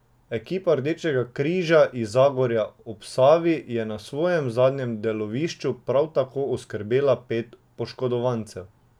Ekipa Rdečega križa iz Zagorja ob Savi je na svojem zadnjem delovišču prav tako oskrbela pet poškodovancev.